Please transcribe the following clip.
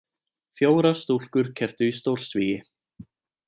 Fjórar stúlkur kepptu í stórsvigi